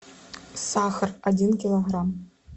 сахар один килограмм